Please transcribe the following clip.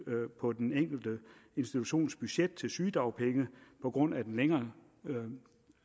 på den enkelte institutions budget til sygedagpenge på grund af den længere